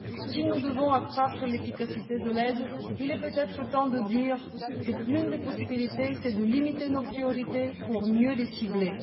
Si nous devons accroître l'efficacité de l'aide, il est peut être temps de dire qu'une des possibilités serait de limiter nos priorités pour mieux les cibler.